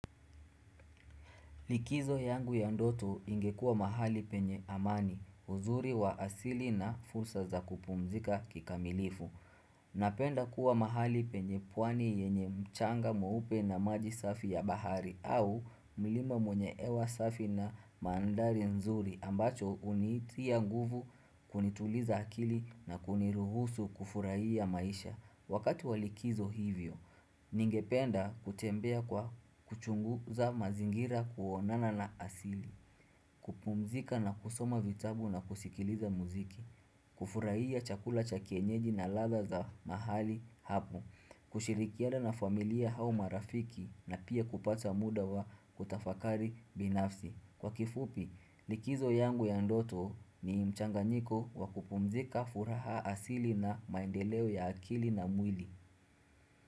Likizo yangu ya ndoto ingekua mahali penye amani, uzuri wa asili na fursa za kupumzika kikamilifu. Napenda kuwa mahali penye pwani yenye mchanga mweupe na maji safi ya bahari au mlima wenye hewa safi na mandhari nzuri ambacho unitia nguvu kunituliza akili na kuniruhusu kufurahia maisha. Na asili. Kupumzika na kusoma vitabu na kusikiliza muziki. Kufurahia chakula cha kienyeji na ladha za mahali hapo. Kushirikina na familia au marafiki na pia kupata muda wa kutafakari binafsi. Kwa kifupi, likizo yangu ya ndoto ni mchanganyiko wa kupumzika furaha asili na maendeleo ya akili na mwili.